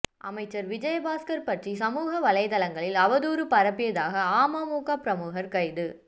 அமைச்சர் விஜயபாஸ்கர் பற்றி சமூக வலைத்தளங்களில் அவதூறு பரப்பியதாக அமமுக பிரமுகர் கைது